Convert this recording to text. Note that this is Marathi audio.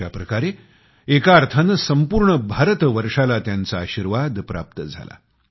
अशा प्रकारे एका अर्थाने संपूर्ण भारतवर्षाला त्यांचा आशीर्वाद प्राप्त झाला